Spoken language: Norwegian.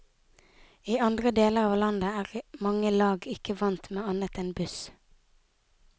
I andre deler av landet er mange lag ikke vant med annet enn buss.